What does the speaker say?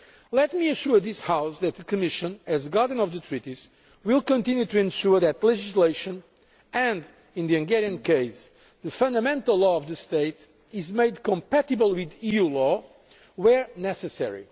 Let me assure this House that the Commission, as Guardian of the Treaties, will continue to ensure that legislation and in the Hungarian case the Fundamental Law of the state is made compatible with EU law where necessary.